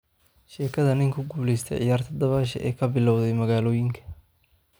Sheekada nin ku guulaysta ciyaarta dabaasha ee ka bilowday magalooyinka .